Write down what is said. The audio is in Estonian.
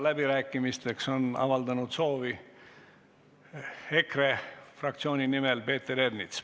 Läbirääkimisteks on EKRE fraktsiooni nimel avaldanud soovi Peeter Ernits.